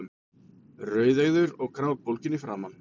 Rauðeygður og grátbólginn í framan.